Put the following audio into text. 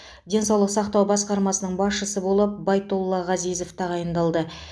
денсаулық сақтау басқармасының басшысы болып байтолла ғазизов тағайындалды